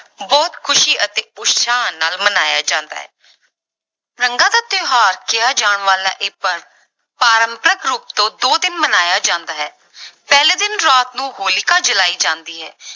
ਬਹੁਤ ਖ਼ੁਸ਼ੀ ਅਤੇ ਉਤਸ਼ਾਹ ਨਾਲ ਮਨਾਇਆ ਜਾਂਦਾ ਹੈ ਰੰਗਾਂ ਦਾ ਤਿਉਹਾਰ ਕਿਹਾ ਜਾਣਾ ਵਾਲਾ ਇਹ ਪਰਵ ਪਾਰੰਪਰਕ ਰੂਪ ਤੋਂ ਦੋ ਦਿਨ ਮਨਾਇਆ ਜਾਂਦਾ ਹੈ ਪਹਿਲੇ ਦਿਨ ਰਾਤ ਨੂੰ ਹੋਲਿਕਾ ਜਲਾਈ ਜਾਂਦੀ ਹੈ।